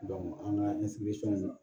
an ka